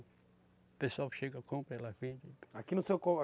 O pessoal chega e compra, ela vende. Aqui